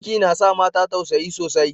Ciki na sa mata tausayi sosai.